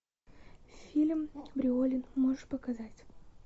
фильм бриолин можешь показать